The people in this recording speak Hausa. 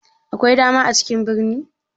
Akwai dama a cikin birni?